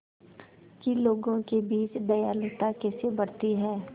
कि लोगों के बीच दयालुता कैसे बढ़ती है